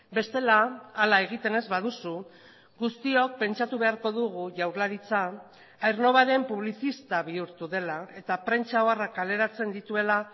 bestela hala egiten ez baduzu guztiok pentsatu beharko dugu jaurlaritza aernnovaren publizista bihurtu dela eta prentsa oharrak kaleratzen dituela